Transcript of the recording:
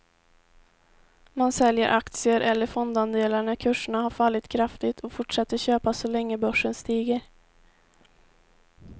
Man säljer aktier eller fondandelar när kurserna har fallit kraftigt och fortsätter köpa så länge börsen stiger.